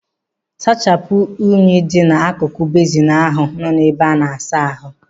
Sachapụ unyi dị n'akụkụ bezin ahụ nọ n'ime ebe ana-asa ahu.